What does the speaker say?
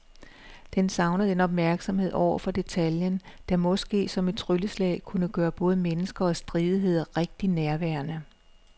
Den savner den opmærksomhed over for detaljen, der måske som et trylleslag kunne gøre både mennesker og stridigheder rigtig nærværende.